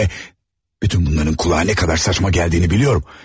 Həm də bütün bunların kulağa nə qədər saçma gəldiyini biliyorum.